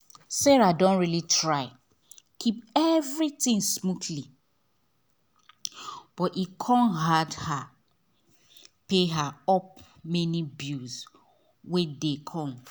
sarah don really try keep everything smoothly but e con hard her pay her up many bill wey dey come